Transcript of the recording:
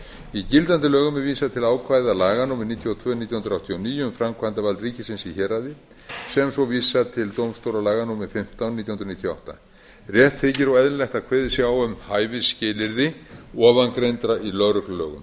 í gildandi lögum er vísað til ákvæða laga númer níutíu og tvö nítján hundruð áttatíu og níu um framkvæmdavald ríkisins í héraði sem svo vísar til dómstólalaga númer fimmtán nítján hundruð níutíu og átta rétt þykir og eðlilegt að kveðið sé á um hæfisskilyrði ofangreindra í lögreglulögum